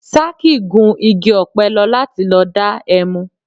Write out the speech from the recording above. Sákì gun igi ọ̀pẹ lọ láti lọ dá ẹmu